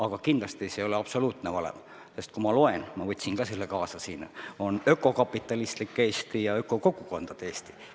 Aga kindlasti see ei ole absoluutne valem, sest kui ma loen : on ökokapitalistlik Eesti ja ökokogukondade Eesti.